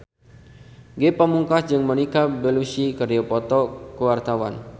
Ge Pamungkas jeung Monica Belluci keur dipoto ku wartawan